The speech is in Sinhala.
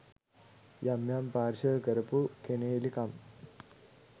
යම් යම් පාර්ශව කරපු කෙනෙහිලකම්